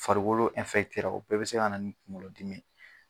Farikolo o bɛɛ bɛ se kana ni kuŋolodimi ye.